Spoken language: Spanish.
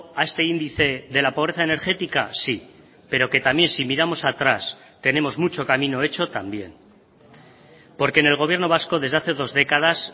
a este índice de la pobreza energética sí pero que también si miramos atrás tenemos mucho camino hecho también porque en el gobierno vasco desde hace dos décadas